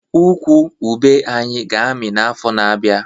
Ukwu ube anyị ga-amị n'afọ na-abịa